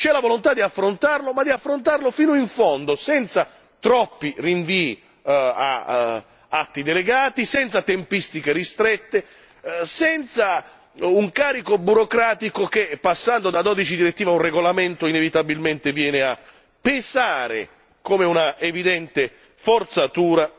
C'è la volontà di affrontarlo, ma di affrontarlo fino in fondo, senza troppi rinvii ad atti delegati, senza tempistiche ristrette, senza un carico burocratico che passando da 12 direttive a un regolamento, inevitabilmente viene a pesare come un'evidente forzatura,